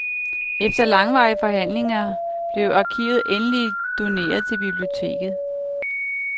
Efter langvarige forhandlinger blev arkivet endeligt doneret til biblioteket.